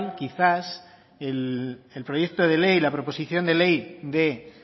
quizás el proyecto de ley la proposición de ley de